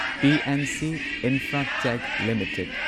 PNC Infratech limited